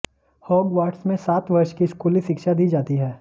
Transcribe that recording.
Hogwarts में सात वर्ष की स्कूली शिक्षा दी जाती है